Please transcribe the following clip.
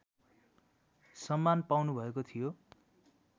सम्मान पाउनुभएको थियो